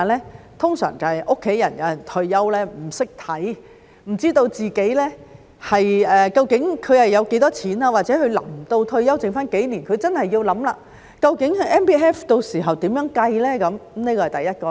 一般便是有家人退休不懂得看，不知道自己究竟有多少錢，或者有些人臨近退休前的數年，真的要思考究竟 MPF 到時候如何計算，這是第一種情況。